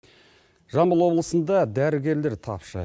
жамбыл облысында дәрігерлер тапшы